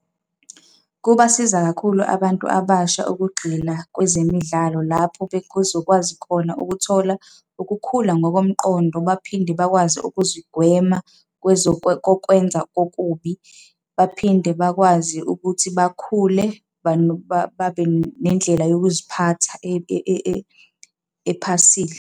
Kubasiza kakhulu abantu abasha ukugxila kwezemidlalo lapho bezokwazi khona ukuthola ukukhula ngokomqondo, baphinde bakwazi ukuzigwema kokwenza kokubi, baphinde bakwazi ukuthi bakhule babe nendlela yokuziphatha ephasile.